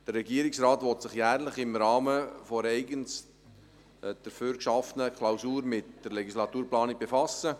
Der Regierungsrat will sich jährlich im Rahmen einer eigens dafür geschaffenen Klausur mit der Legislaturplanung befassen.